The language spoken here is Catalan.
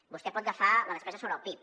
vostè pot agafar la despesa sobre el pib